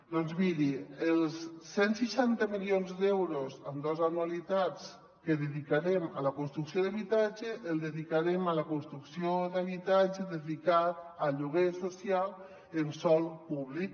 doncs miri els cent i seixanta milions d’euros en dos anualitats que dedicarem a la construcció d’habitatge els dedicarem a la construcció d’habitatge dedicat a lloguer social en sòl públic